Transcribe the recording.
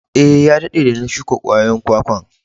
Eh, ya dadde de na shuka kwayoyin kwakwan.